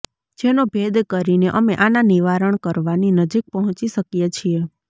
જેનો ભેદ કરીને અમે આના નિવારણ કરવાની નજીક પહોંચી શકીએ છીએ